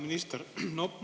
Hea minister!